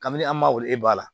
Kabini an ma wolo e ba la